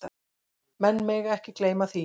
Menn mega ekki gleyma því.